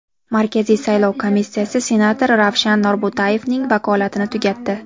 Markaziy saylov komissiyasi senator Ravshan Norbo‘tayevning vakolatini tugatdi.